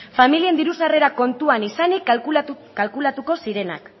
familien diru sarrera kontuan izanik kalkulatuko zirenak